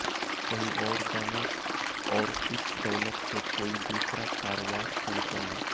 कहीं और जाना और इस दौलत से कोई दूसरा कारोबार शुरू करना